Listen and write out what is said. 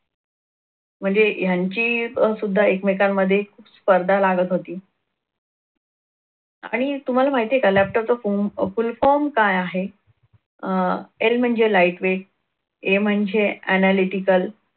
म्हणजे यांची सुद्धा एकमेकांमध्ये स्पर्धा लागत होती. आणि तुम्हाला माहितीये laptop चा full form काय आहे अह L म्हणजे light weightA हे म्हणजे analitical